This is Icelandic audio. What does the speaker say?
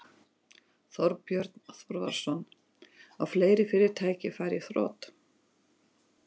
Þorbjörn Þórðarson: Og fleiri fyrirtæki fari í þrot?